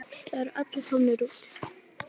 Það eru allir komnir út.